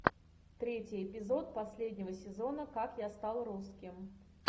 третий эпизод последнего сезона как я стал русским